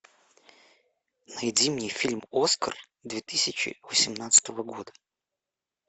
найди мне фильм оскар две тысячи восемнадцатого года